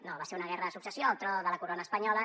no va ser una guerra de successió al tron de la corona espanyola